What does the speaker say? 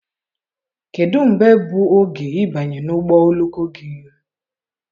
kedụ mgbe bụ oge ịbanye ụgbọ oloko gị?